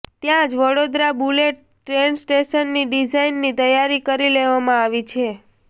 ત્યાં જ Vadodara bullet train સ્ટેશનની ડીઝાઇન તૈયાર કરી લેવામાં આવી છે